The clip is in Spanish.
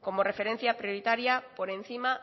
como referencia prioritaria por encima